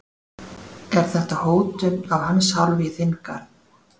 Er þetta hótun af hans hálfu í þinn garð?